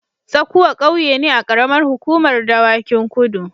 Tsakuwa ƙauye ne a ƙaramar hukumar Dawakin Kudu.